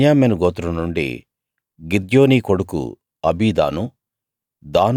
బెన్యామీను గోత్రం నుండి గిద్యోనీ కొడుకు అబీదాను